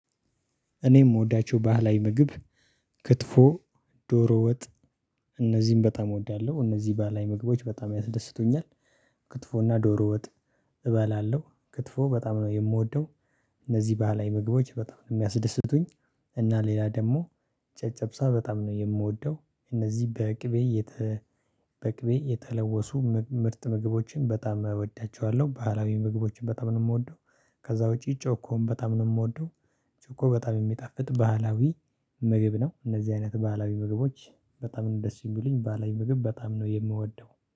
እኔ የምወዳቸው ባህላዊ ምግብ ክትፎ ዶሮ ወጥ እነዚህን በጣም እወዳለሁ እነዚህ ባህላዊ ምግቦች በጣም ያስደስቱኛል። ክትፎና ዶሮ ወጥ እበላለሁ ክትፎ በጣም ነው የምወደው። እነዚህ ባህላዊ ምግቦች በጣም ነው የሚያስደስቱኝ። እና ሌላ ደግሞ ጨጨብሳ በጣም ነው የምወደው እነዚህ በቅቤ በቅቤ የተለወሱ ምርጥ ምግቦችን በጣም እወዳቸዋለሁ ባህላዊ ምግቦችን በጣም ነው የምወደው። ከዛ ውጪ ጮኮም በጣም ነው የምወደው። ጮኮ በጣም የሚጠፍጥ ባህላዊ ምግብ ነው። እነዚህ አይነት ባህላዊ ምግቦች በጣም ነው ደስ የሚሉኝ ባህላዊ ምግብ በጣም ነው የምወደው